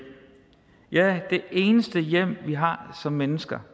ja det eneste hjem vi har som mennesker